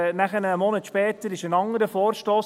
Ein Monat später kam ein anderer Vorstoss.